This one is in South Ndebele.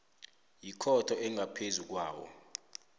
yikhotho engaphezu kwawo